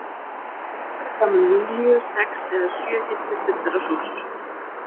Beint fyrir framan Júlíu sex eða sjö hillur fullar af sósum.